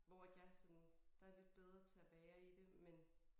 Hvor at jeg sådan der jeg lidt bedre til at være i det men